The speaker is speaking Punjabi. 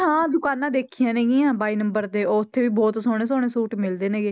ਹਾਂ ਦੁਕਾਨਾਂਂ ਦੇਖੀਆਂ ਨੇਗੀਆਂ ਬਾਈ number ਤੇ ਉੱਥੇ ਵੀ ਬਹੁਤ ਸੋਹਣੇ ਸੋਹਣੇ ਸੂਟ ਮਿਲਦੇ ਨੇਗੇ,